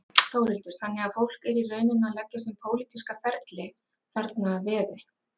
Þórhildur: Þannig að fólk er í rauninni að leggja sinn pólitíska ferli þarna að veði?